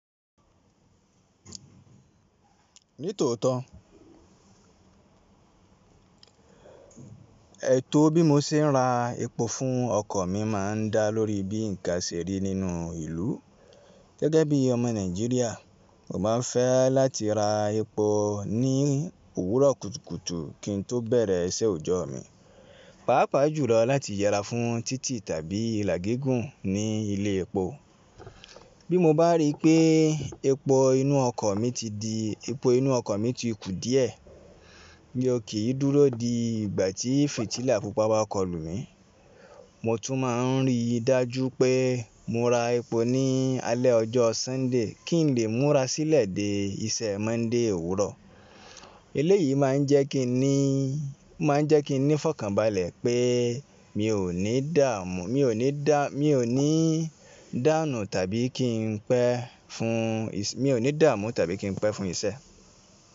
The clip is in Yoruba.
Nítòótó, ètò bí mo se ń ra epo fún ọkọ̀ mi máa ń dá lórí bí ǹkan ṣe rí nínú ìlú. Gẹ́gẹ́ bí ọmọ Nàìjíríà, mo máa ń fẹ́ láti ra epo ní òwúrọ̀ kùtùkùtù kí n tó bẹ̀rẹ̀ iṣẹ́ òjọ́ mi, pàápàá jùlọ láti yẹra fún títì tàbí ìlà gígùn ní ilé epo. Bí mo bá rí pé epo inú ọkọ̀ mi ti kù díẹ̀, mí ó kì í dúró di ìgbà tí fìtílà púpà bá kọlù mí, mo tún máa ń rí i dájú pé mo ra epo ní alẹ́ ọjọ́ Sọ́ńdè kí n lè múra sílẹ̀ dé iṣẹ́ Monday òwúrọ̀. Eléyìí máa ń jẹ́ kí ní fọkànbalẹ̀ pé mi o ni ò ní dàmù tàbí kí n pẹ́ fún iṣẹ́.